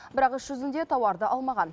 бірақ іс жүзінде тауарды алмаған